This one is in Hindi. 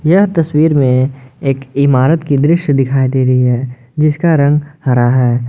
यह तस्वीर में एक इमारत की दृश्य दिखाई दे रही है जिसका रंग हरा है।